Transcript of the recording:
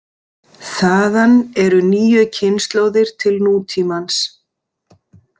Þaðan eru níu kynslóðir til nútímans.